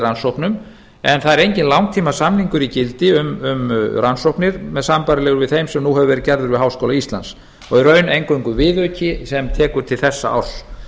rannsóknum en það er enginn langtímasamningur í gildi um rannsóknir sambærilegum þeim sem nú hafa verið gerður við háskóla íslands og í raun eingöngu viðauki sem tekur til þessa árs